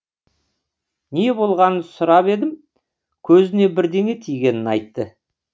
не болғанын сұрап едім көзіне бірдеңе тигенін айтты